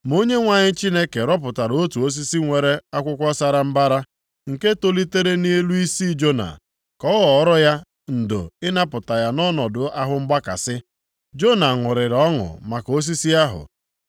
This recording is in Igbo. Ma Onyenwe anyị Chineke rọpụtara otu osisi nwere akwụkwọ sara mbara, + 4:6 Emeghị ka anyị amata ụdị osisi ọ bụ ma ụfọdụ akwụkwọ na-ede osisi ogiri ugba. nke tolitere nʼelu isi Jona, ka o ghọọrọ ya ndo ịnapụta ya nʼọnọdụ ahụ mgbakasị. Jona ṅụrịrị ọṅụ maka osisi ahụ.